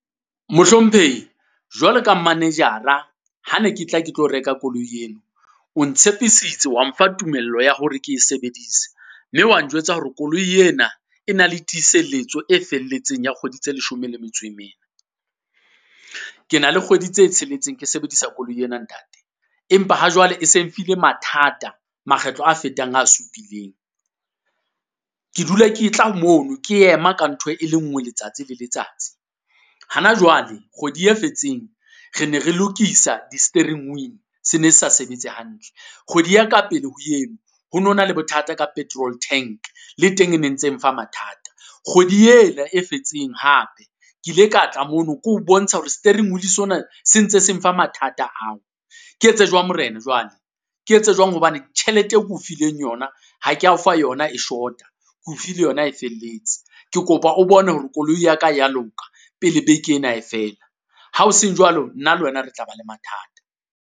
Mohlomphehi jwalo ka manage-ra, ha ne ke tla ke tlo reka koloi eno. O ntshepisitse wa mfa tumello ya hore ke e sebedisa, mme wa njwetsa hore koloi ena e na le tiiselletso e felletseng ya kgwedi tse leshome le metso e mene. Ke na le kgwedi tse tsheletseng ke sebedisa koloi ena ntate, empa ha jwale e seng file mathata makgetlo a fetang a supileng. Ke dula ke tla mono, ke ema ka ntho e le nngwe letsatsi le letsatsi. Hana jwale kgwedi e fetseng, re ne re lokisa di-steering wheel, se ne se sa sebetse hantle. Kgwedi ya ka pele ho eno, ho no na le bothata ka petrol tank le teng e ne ntse mfa mathata, kgwedi ena e fetseng hape, ke ile ka tla mono ko o bontsha hore steering wheel sona se ntse se mfa mathata ao. Ke etse jwang morena jwale? Ke etse jwang hobane tjhelete e ke o fileng yona, ha ke ya o fa yona e short-a, ke o file yona e felletse? Ke kopa o bone hore koloi ya ka e ya loka, pele beke ena e fela. Ha o seng jwalo, nna le wena re tla ba le mathata.